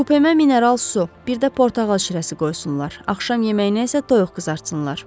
Kupemə mineral su, bir də portağal şirəsi qoysunlar, axşam yeməyinə isə toyuq qızartsınlar.